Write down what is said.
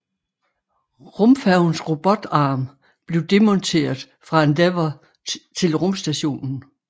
Rumfærgens robotarm blev demonteret fra Endeavour til rumstationen